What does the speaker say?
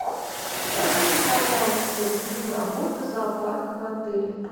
скажите пожалуйста режим работы зоопарка в отеле